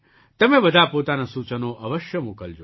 તમે બધા પોતાનાં સૂચનો અવશ્ય મોકલજો